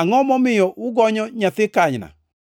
“Angʼo momiyo ugonyo nyathi kanyna?”